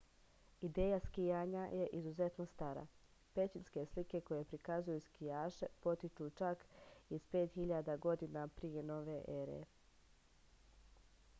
ideja skijanja je izuzetno stara pećinske slike koje prikazuju skijaše potiču čak iz 5000. godine p n e